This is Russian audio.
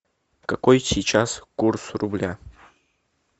какой сейчас курс рубля